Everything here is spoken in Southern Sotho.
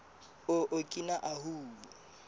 o okina ahu